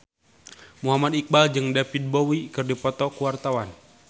Muhammad Iqbal jeung David Bowie keur dipoto ku wartawan